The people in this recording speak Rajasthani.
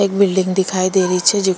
एक बिलडिंग दिखाई दे रही छे जेको --